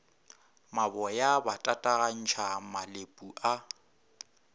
maboya ba tatagantšha malepu a